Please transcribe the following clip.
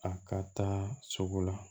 A ka taa sugu la